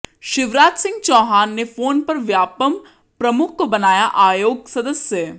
शिवराज सिंह चौहान ने फोन पर व्यापमं प्रमुख को बनाया आयोग सदस्य